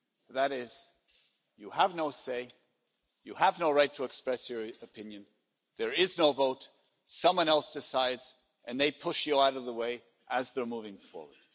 That is, you have no say, you have no right to express your opinion, there is no vote, someone else decides, and they push you out of the way as they're moving forward.